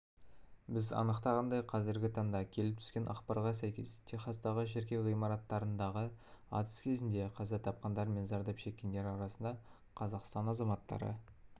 біз анықтағандай қазіргі таңда келіп түскен ақпарға сәйкес техастағы шіркеу ғимаратындағы атыс кезінде қаза тапқандар мен зардап шеккендер арасында қазақстан азаматтары